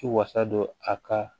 Ti wasa don a ka